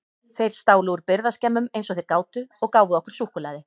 Þeir stálu úr birgðaskemmum eins og þeir gátu og gáfu okkur súkkulaði.